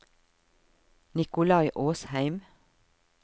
Nikolai Åsheim